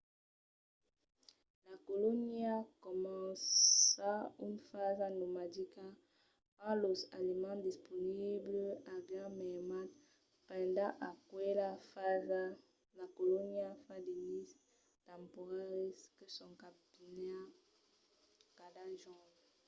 la colonia comença una fasa nomadica quand los aliments disponibles avián mermat. pendent aquela fasa la colonia fa de nises temporaris que son cambiats cada jorn